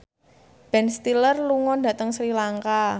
Ben Stiller lunga dhateng Sri Lanka